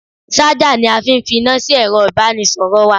Ṣájà ni a fi fi iná sí ẹ̀ro ìbánisọ̀rọ̀ wa.